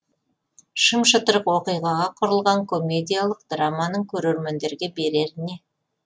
шым шытырық оқиғаға құрылған комедиялық драманың көрермендерге берері не